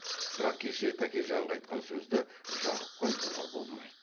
бірақ кеше тәкежанға айтқан сөзді жақыпқа айтуға болмайды